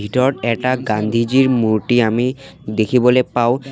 ভিতৰত এটা গান্ধীজীৰ মূৰ্ত্তি আমি দেখিবলৈ পাওঁ।